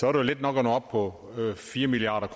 er let nok at nå op på fire milliard